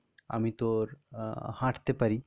আমি তোর আহ হাঁটতে পারি.